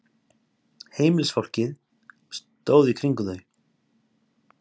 Heimilisfólkið stóð í kringum þau.